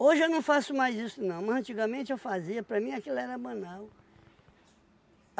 Hoje eu não faço mais isso não, mas antigamente eu fazia, para mim aquilo era banal.